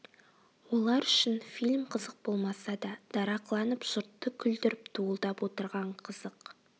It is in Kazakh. олар үшін фильм қызық болмаса да дарақыланып жұртты күлдіріп дуылдап отырған қызық